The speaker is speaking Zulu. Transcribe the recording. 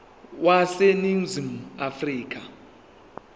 wase ningizimu afrika